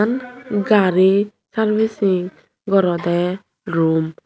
gari sarvising gorede room .